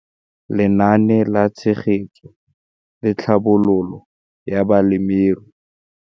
Lenaane la Tshegetso le Tlhabololo ya Balemirui.